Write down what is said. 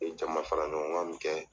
ye jama faraɲɔgɔnkan min kɛ